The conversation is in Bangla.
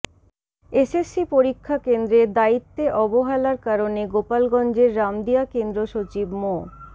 এসএসসি পরীক্ষা কেন্দ্রে দায়িত্বে অবহেলার কারণে গোপালগঞ্জের রামদিয়া কেন্দ্র সচিব মো